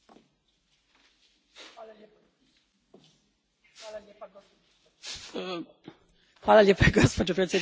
Gospođo predsjednice, društvene mreže predstavljaju revoluciju u ljudskoj komunikaciji i veliki dobitak za globalnu ekonomiju.